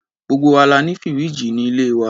Gbogbo wa la ní fìríìjì ní ilé wa.